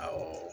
Awɔ